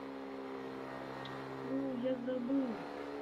ну я забыл